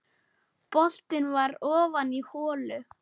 Boltinn var ofan í holu.